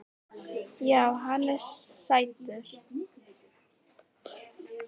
Já, hann er sætur.